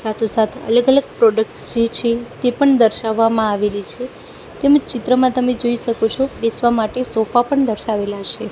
સાતો સાત અલગ અલગ પ્રોડક્ટ્સ જે છે તે પણ દર્શવામાં માં આવેલી છે તેમજ ચિત્રમાં તમે જોઈ શકો છો બેસવા માટે સોફા પણ દર્શાવેલા છે.